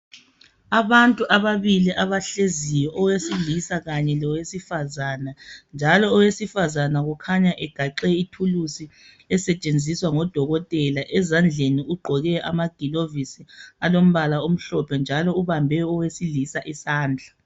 Abantu ababili abahleziyo owesila kanye lowesifazana njalo owesifazana kukhanya egaxe ithuluzi esetshenziswa ngodokotela ezandleni ugqoke amagilovisi alompala omhlophe njalo ombambe owesilisa isandla.